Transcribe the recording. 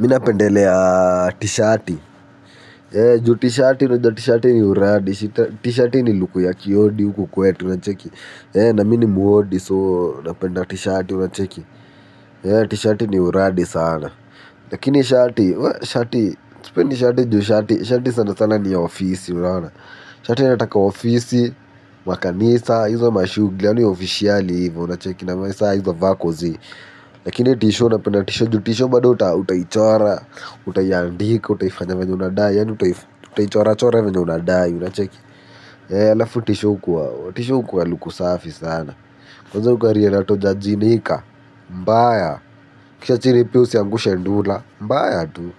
Mi napendelea tishati. Juu tishati niju tishati ni uradi. Tishati ni luku ya kiodi uku kwetu. Ncheki. Nami ni mu odi so napenda tishati. Ncheki. Tishati ni uradi sana. Lakini shati. Shati niju tishati. Shati sana sana ni ya ofisi. Shati nataka ofisi. Makanisa. Hizo mashuguli. Hiza officiali hiva. Hiza vako zi. Lakini tisho napenda tisho. Juu tisho bada uta utaichora. Uta yandika, utaifanya venye unadai, utaichora chora venye unadai, unacheki. E ya lafu tisho huku wa luku safi sana. Kwanza ukari ya na toja jinika, mbaya. Kisha chini pia usiangushe ndula, mbaya tu.